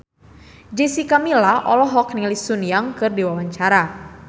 Jessica Milla olohok ningali Sun Yang keur diwawancara